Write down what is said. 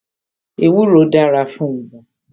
Ewúro dára fún ibà